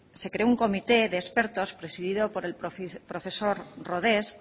se creó un comité de expertos presidido por el profesor rodés